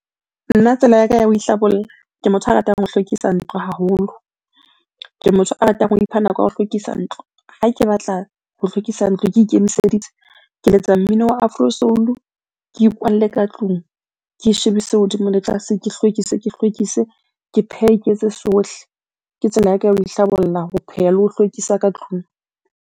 Nna tsela ya ka ya ho ihlabolla, ke motho a ratang ho hlwekisa ntlo haholo. Ke motho a ratang o ipha nako ya ho hlwekisa ntlo. Ha ke batla ho hlwekisa ntlo, ke ikemiseditse. Ke letsa mmino wa afro soul-u, ke ikwalle ka tlung. Ke e shebise hodimo le tlase, ke hlwekise, ke hlwekise, ke phehe, ke etse sohle. Ke tsela ya ka ya ho ihlabolla, ho pheha le ho hlwekisa ka tlung.